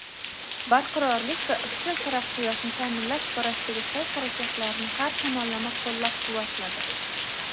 barqarorlik va izchil taraqqiyotni ta’minlash borasidagi sa’y-harakatlarini har tomonlama qo‘llab-quvvatladi.